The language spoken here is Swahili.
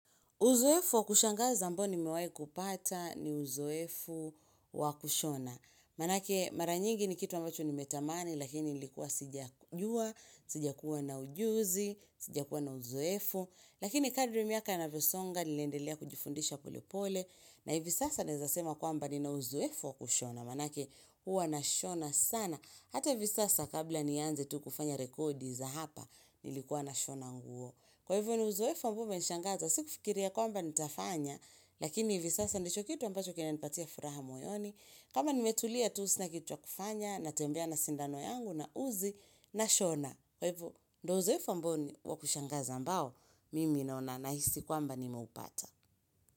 Uzoefu wa kushangaza ambao nimewahi kupata ni uzoefu wa kushona. Manake mara nyingi ni kitu ambacho nimetamani lakini ilikuwa sijajua sija kuwa na ujuzi, sija kuwa na uzoefu. Lakini kadri miaka inavyosonga niliendelea kujifundisha pole pole. Na hivi sasa naeza sema kwamba ni na uzoefu wa kushona manake huwa na shona sana. Hata hivi sasa kabla nianze tu kufanya rekodi za hapa nilikuwa na shona nguo. Kwa hivyo ni uzoefu ambao umenishangaza, sikufikiria kwamba nitafanya, lakini hivi sasa ndicho kitu ambacho kina nipatia furaha moyoni. Kama nimetulia tu sina kitu ya kufanya, natembea na sindano yangu na uzi na shona. Kwa hivo, ndo uzoefu ambao ni wakushangaza ambao, mimi naona na hisi kwamba nimeupata.